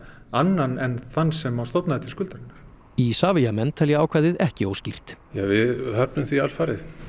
annan en þann sem stofnaði til skuldarinnar Isavia menn telja ákvæðið ekki óskýrt við höfnum því alfarið